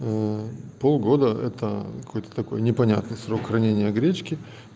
полгода это какой-то такой непонятный срок хранения гречки